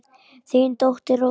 Þín dóttir, Rósa.